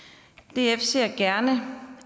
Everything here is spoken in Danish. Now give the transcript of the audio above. df ser gerne